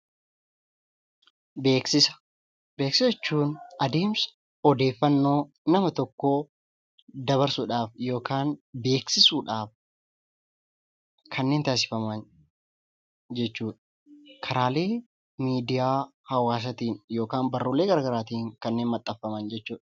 Beeksisa jechuun adeemsa odeeffannoo nama tokkoo dabarsuu yookiin beeksisuu jechuudha. Kanneen miidiyaalee hawaasatiin yookiin manxansa barruulee garagaraatiin dabarsuu jechuudha.